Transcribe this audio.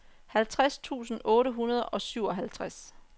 halvtreds tusind otte hundrede og syvoghalvtreds